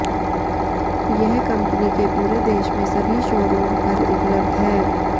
यह कंपनी के पूरे देश में सभी शोरूम पर उपलब्ध है